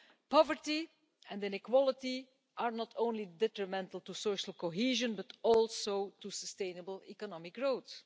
Poverty and inequality are not only detrimental to social cohesion, but also to sustainable economic growth.